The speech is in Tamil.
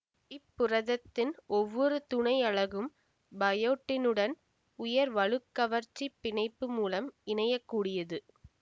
இப்புரதத்தின் ஒவ்வொரு துணை அலகும் பயோட்டினுடன் உயர் வலுக் கவர்ச்சிப் பிணைப்பு மூலம் இணையக்கூடியது